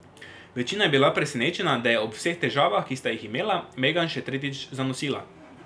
Večina je bila presenečena, da je ob vseh težavah, ki sta jih imela, Megan še tretjič zanosila.